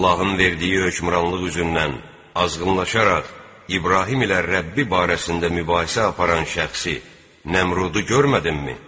Allahın verdiyi hökmranlıq üzündən azğınlaşaraq İbrahim ilə Rəbbi barəsində mübahisə aparan şəxsi Nəmrudu görmədinmi?